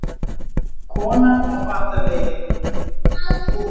Konan á batavegi